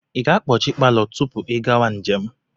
Ị ga-akpọchi palọ tupu ị gawa njem?